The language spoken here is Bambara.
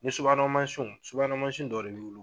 Ni subahana mansinw subahana mansinw dɔ b' bolo.